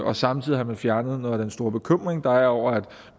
og samtidig har man fjernet noget af den store bekymring der er over at